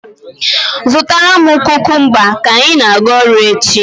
Zụtara m kukumba ka ị na-aga ọrụ echi.